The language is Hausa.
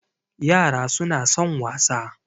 yara suna son wasa